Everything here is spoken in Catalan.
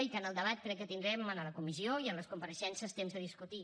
i que en el debat crec que tindrem en la comissió i amb les compareixences temps de discutir